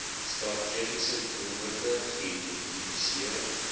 strategiese doelwitte geïdentifiseer